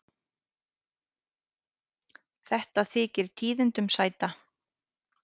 Þetta þykir tíðindum sæta.